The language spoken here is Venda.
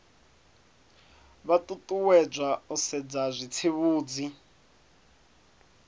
vha ṱuṱuwedzwa u sedza zwitsivhudzi